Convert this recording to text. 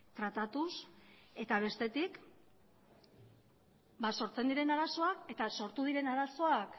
tratatuz eta bestetik sortzen diren arazoak eta sortu diren arazoak